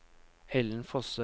Ellen Fosse